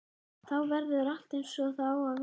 Þá verður allt eins og það á að vera.